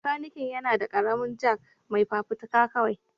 Makanikin yana da ƙaramin Jack mai fafutuka kawai